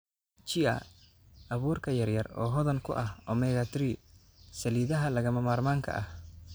Chia: Abuurka yaryar oo hodan ku ah omega-3 saliidaha lagama maarmaanka ah.